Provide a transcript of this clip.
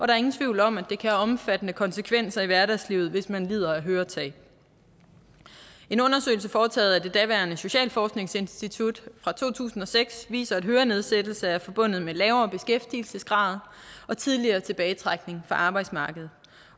er ingen tvivl om at det kan have omfattende konsekvenser i hverdagslivet hvis man lider af høretab en undersøgelse foretaget af det daværende socialforskningsinstitut fra to tusind og seks viser at hørenedsættelse er forbundet med lavere beskæftigelsesgrad og tidligere tilbagetrækning fra arbejdsmarkedet